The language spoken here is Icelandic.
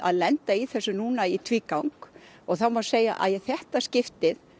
lenda í þessu núna í tvígang það má segja að í þetta skiptið